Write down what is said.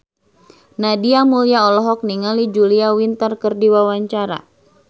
Nadia Mulya olohok ningali Julia Winter keur diwawancara